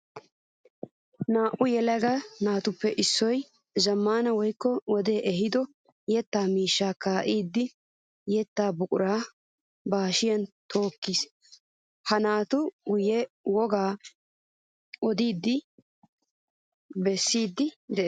Naa'u yelagattuppe issoy zamaana woykko wode ehiido yetta miishsha kaa'iddi yetta buqura ba hashiyan tookis. Ha naatu guye woga odi bessi de'ees.